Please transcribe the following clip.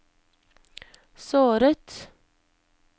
såret